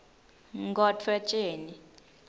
nkhotfwetjeni